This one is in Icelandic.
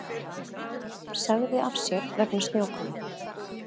Sagði af sér vegna snjókomu